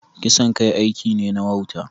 Kisan kai aiki ne na wauta.